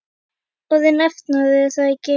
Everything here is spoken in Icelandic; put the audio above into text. Orðinn efnaður, er það ekki?